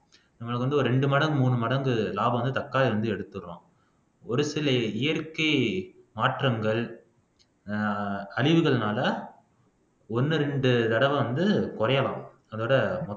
நம்மளுக்கு வந்து ஒரு ரெண்டு மடங்கு மூணு மடங்கு லாபம் வந்து தக்காளி வந்து எடுத்தர்றோம் ஒரு சில இயற்கை மாற்றங்கள் அழிவுகள்னால ஒண்ணு ரெண்டு தடவை வந்து குறையலாம் அதோட